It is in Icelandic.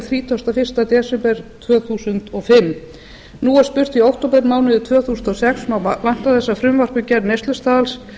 þrítugasta og fyrsta desember tvö þúsund og fimm nú er spurt í októbermánuði tvö þúsund og sex má vænta þess að frumvarp um gerð neyslustaðals